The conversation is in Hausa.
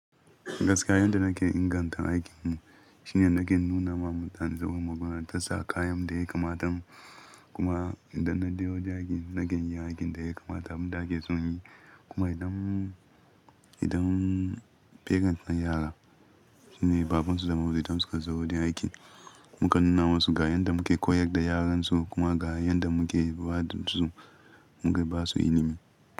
Gaskiya yanda nake inganta aikin shi ne nake nuna ma mutane zaɓin magunar ta sa kayan da ya kamata. Kuma idan na je wurin aiki, nakan yi aikin da ya kamata abun da ake so nayi. Kuma idan, idan parent na yara, shine babansu da maza idan suka zo wurin aiki mukan nuna masu ga yanda muke koyar da yaran su kuma ga yanda muke bada su, muke basu ilimi.